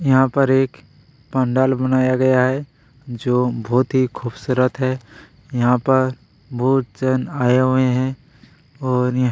यहाँ पर एक पंडाल बनाया गया है जो बहुत ही खूबसूरत है यहाँ पर बहुत जन आए हुए हैं और--